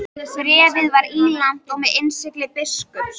Bréfið var ílangt og með innsigli biskups.